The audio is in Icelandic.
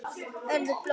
Verður blóð.